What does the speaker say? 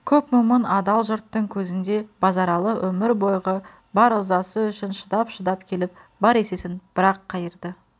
көп момын адал жұрттың көзінде базаралы өмір бойғы бар ызасы үшін шыдап-шыдап келіп бар есесін бір-ақ қайырды